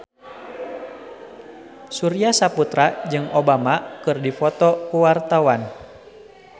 Surya Saputra jeung Obama keur dipoto ku wartawan